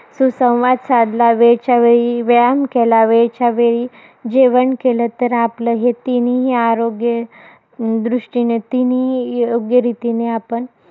सुसंवाद साधला. वेळच्यावेळी, व्यायाम केला. वेळच्यावेळी, जेवण केलं, तर आपलं हे तीनही आरोग्य, अं दृष्टीने तीनही योग्य रीतीने आपण,